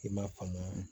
I ma faamu